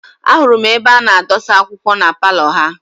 A hụrụ m ebe a na-adọsa akwụkwọ na paalọ ha.